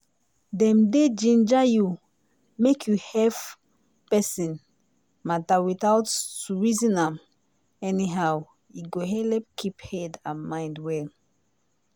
dem dey ginger you make you hef person matter without to reason am anyhow e go helep keep head and mind well.